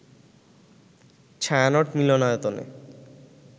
ছায়ানট মিলনায়তনে